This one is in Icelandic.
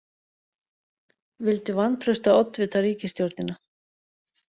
Vildu vantraust á oddvita ríkisstjórnina